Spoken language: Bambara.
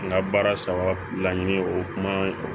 N ka baara saba laɲini o kuma